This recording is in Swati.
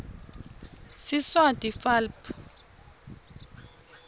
siswati fal p